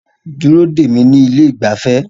Dúró dè mí ní ilé ìgbafẹ́